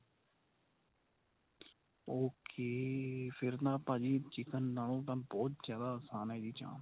okay ਫ਼ਿਰ ਨਾ ਭਾਜੀ chicken ਨਾਲੋਂ ਤਾਂ ਬਹੁਤ ਜਿਆਦਾ ਆਸਾਨ ਏ ਇਹ ਚਾਂਪ